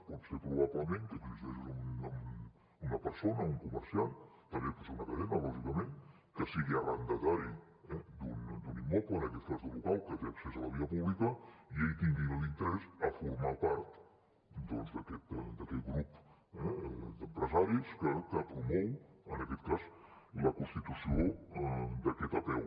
pot ser probablement que existeixi una persona o un comerciant també pot ser una cadena lògicament que sigui arrendatari eh d’un immoble en aquest cas d’un local que té accés a la via pública i ell tingui l’interès de formar part doncs d’aquest grup d’empresaris que promou en aquest cas la constitució d’aquesta apeu